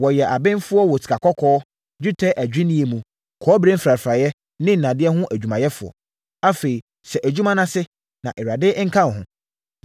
Wɔyɛ abenfoɔ wɔ sikakɔkɔɔ, dwetɛ adwinnie mu, kɔbere mfrafraeɛ ne nnadeɛ ho adwumayɛfoɔ. Afei hyɛ adwuma no ase, na Awurade nka wo ho.”